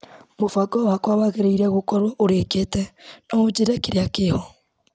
Mũbango wakwa wagĩrĩire gũkorwo ũrĩkĩte ,no unjire kĩrĩa kĩho.